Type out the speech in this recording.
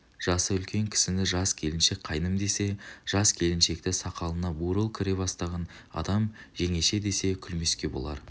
жасы үлкен кісіні жас келіншек қайным десе жас келіншекті сақалына бурыл кіре бастаған адам жеңеше десе күлмеске болар